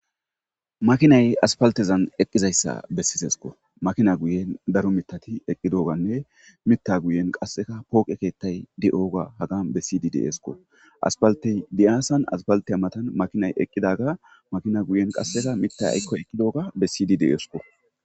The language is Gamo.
Makinay aspaltezan eqqizayssa bessisesko makina guyen daro mitati eqqi dooganne mitta guyen qasseka pooqe keettay de7ooga haga be sid deesko aspaltey diyaasan aspalte matan makinay eqqidaga makina guyen qasseka mittay aykkoy eqqidooga be sidi deesko.